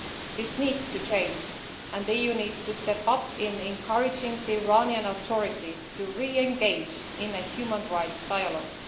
This needs to change and the EU needs to step up in encouraging the Iranian authorities to re engage in a human rights dialogue.